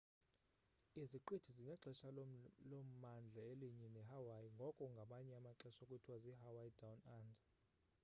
iziqithi zinexesha lommandla elinye nehawaii ngoko ngamanye amaxesha kuthiwa zi- hawaii down under